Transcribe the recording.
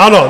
Ano.